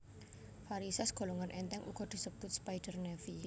Varisès golongan èntèng uga disebut spider navy